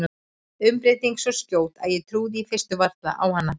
Umbreytingin svo skjót að ég trúði í fyrstu varla á hana.